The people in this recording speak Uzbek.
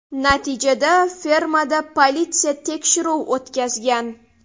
Natijada fermada politsiya tekshiruv o‘tkazgan.